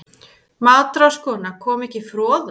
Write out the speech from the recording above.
MATRÁÐSKONA: Kom ekki froða?